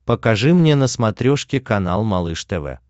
покажи мне на смотрешке канал малыш тв